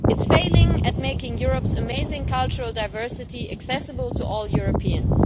It is failing at making Europe's amazing cultural diversity accessible to all Europeans.